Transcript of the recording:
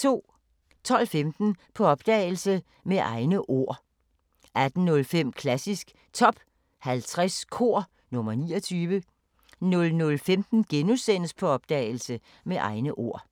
12:15: På opdagelse – Med egne ord 18:05: Klassisk Top 50 Kor – nr. 29 00:15: På opdagelse – Med egne ord *